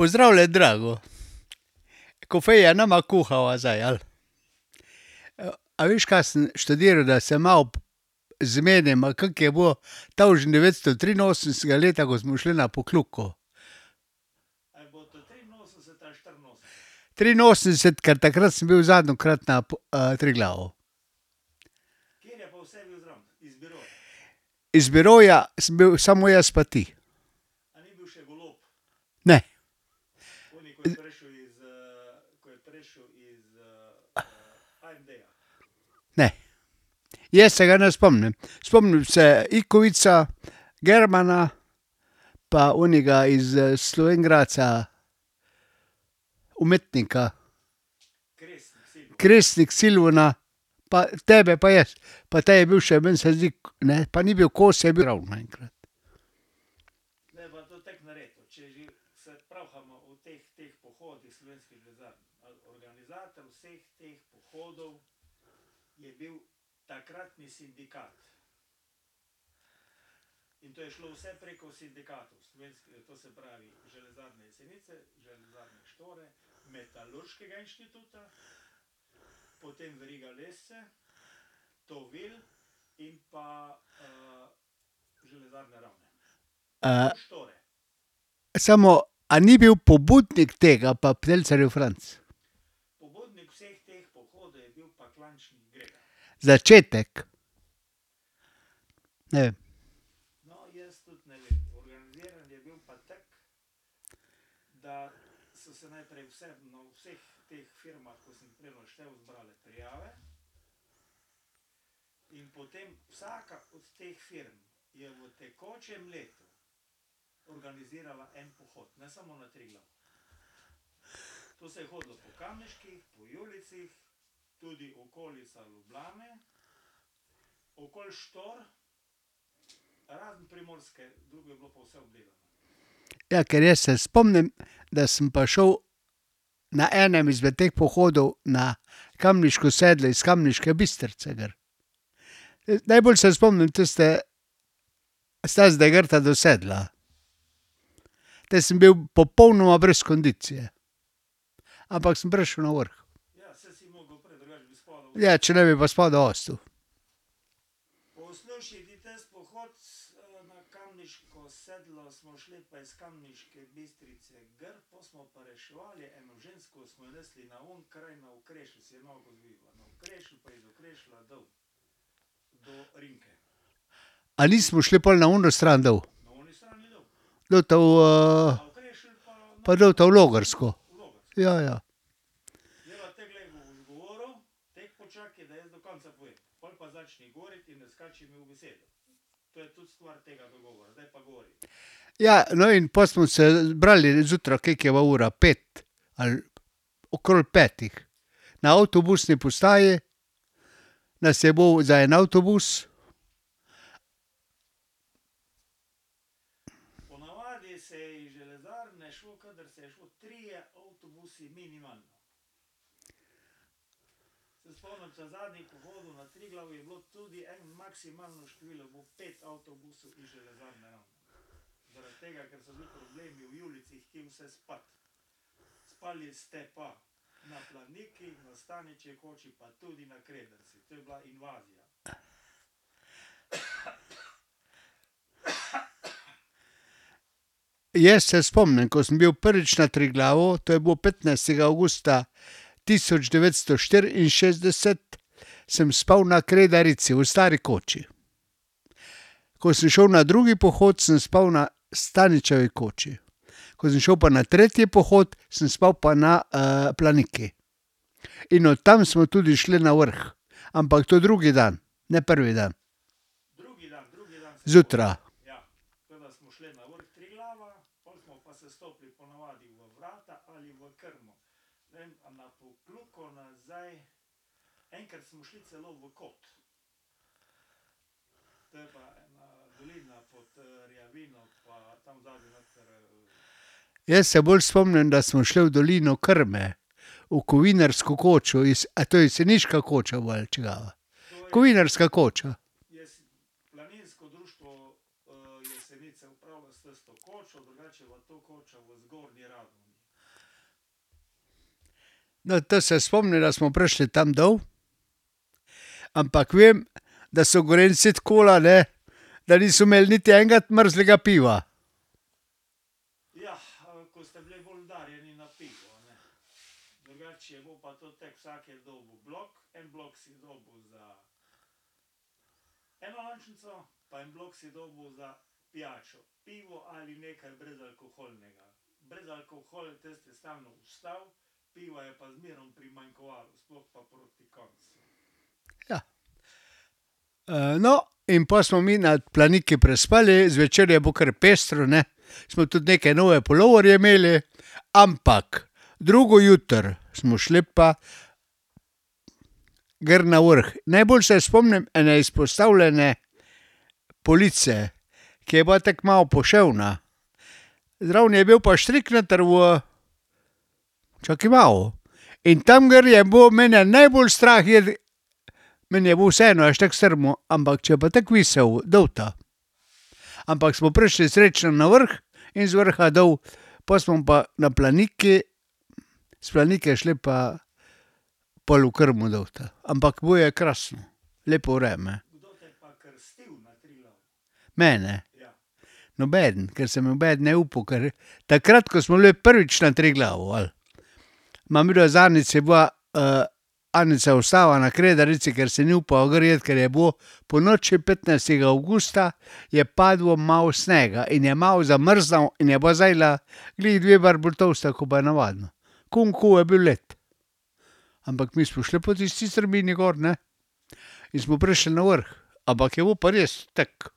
Pozdravljen, Drago, kofeta ne bova kuhala zdaj, ali? a veš, kaj sem študiral, da se malo zmeniva, kako je bilo tavžent devetsto triinosemdesetega leta, ko smo šli na Pokljuko. Triinosemdeset, ker takrat sem bil zadnjikrat na Triglavu. Iz biroja sem bil samo jaz pa ti. Ne. Ne. Jaz se ga ne spomnim. Spomnim se Ikovica, Germana pa onega iz Slovenj Gradca, umetnika. [ime in priimek] pa tebe pa jaz. Pa te je bil še, meni se zdi, ne, pa ni bil kos . samo, a ni bil pobudnik tega pa [ime in priimek] ? Začetek. Ne vem. Ja, ker jaz se spomnim, da sem pa šel na enem izmed teh pohodov na Kamniško sedlo iz Kamniške Bistrice gor. Najbolj se spomnim tiste steze gorta do sedla. Te sem bil popolnoma brez kondicije. Ampak sem prišel na vrh. Ja, če ne bi pa spodaj ostal. A ni smo šli pol na ono stran dol? Dolta v ... Pa dolta v Logarsko. Ja, ja. Ja, no, in pol smo se zbrali zjutraj, koliko je bila ura, pet? Ali okrog petih, na avtobusni postaji nas je bilo za en avtobus. Jaz se spomnim, ko sem bil prvič na Triglavu, to je bilo petnajstega avgusta tisoč devetsto štiriinšestdeset, sem spal na Kredarici v stari koči. Ko sem šel na drugi pohod, sem spal na Staničevi koči. Ko sem šel pa na tretji pohod, sem spal pa na Planiki. In od tam smo tudi šli na vrh. Ampak to drugi dan, ne prvi dan. Zjutraj. Jaz se bolj spomnim, da smo šli v dolino Krme. V Kovinarsko kočo iz, a to je jeseniška koča gor ali čigava? Kovinarska koča. No, te se spomnim, da smo prišli tam dol, ampak vem, da so Gorenjci , ne, da niso imeli niti enega mrzlega piva. Ja. no, in pol smo mi na Planiki prespali, zvečer je bilo kar pestro, ne. Smo tudi neke nove puloverje imeli, ampak drugo jutro smo šli pa gor na vrh. Najboljše se spomnim ene izpostavljene police, ke je bila tako malo poševna, zraven je bil pa štrik noter v ... Čakaj malo, in tam gor je bilo mene najbolj strah iti. Meni je bilo vseeno, imaš tako strmo, ampak če je pa tako viselo dolta ... Ampak smo prišli srečno na vrh in z vrha dol, pol smo pa na Planiki, s Planike šli pa pol v Krmo dolta. Ampak bilo je krasno. Lepo vreme. Mene? Nobeden, ker se nobeden ni upal, ker takrat, ko smo bili prvič na Triglavu, ali? Ma midva z Anico je bila, Anica je ostala na Kredarici, ker si ni upala gor iti, ker je bilo ... Ponoči petnajstega avgusta je padlo malo snega in je malo zamrznil in je bila zajla glih malo bolj tolsta ko pa navadno. Okoli in okoli je bil led. Ampak mi smo šli po tisti strmini gor, ne, in smo prišli na vrh. Ampak je bilo pa res tako.